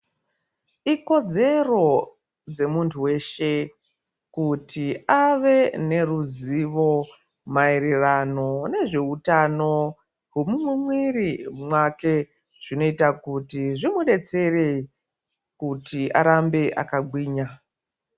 Ikodzero dzemuntu weshe, kuti ave neruzivo, mayererano nezveutano hwemumwiri wake, zvinoyita kuti zvimudetsere kuti arambe akagwinya.